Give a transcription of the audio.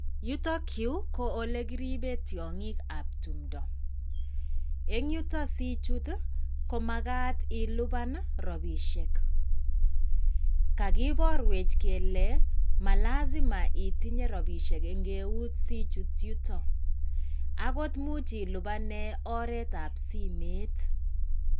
Yutok yu koole kieiben tiongikab tumdo. Eng yutok sichut komagat iluban ropisiek. Kagiborwech kele, malazima itenye ropisiek eng eut sichut yutok. Agot imuch ilubanen oretab simet.